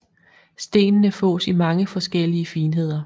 Stenene fås i mange forskellige finheder